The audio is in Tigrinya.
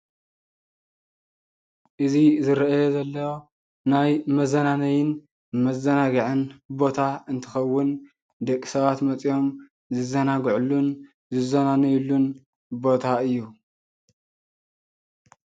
እዚ ዝረኣይ ዘሎ ናይ መዝናነይን መዛናግዕን ቦታ እንትኸውን ደቂ ሰባት መፅዮም ዝዛናግዕሉን ዝዝናነይሉን ቦታ እዩ።